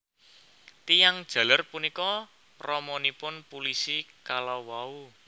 Tiyang jaler punika ramanipun pulisi kalawau